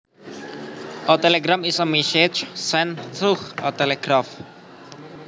A telegram is a message sent through a telegraph